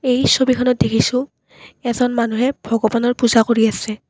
এই ছবিখনত দেখিছোঁ এজন মানুহে ভগবানৰ পূজা কৰি আছে।